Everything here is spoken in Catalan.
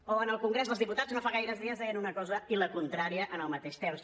o en el congrés dels diputats no fa gaires dies deien una cosa i la contrària al mateix temps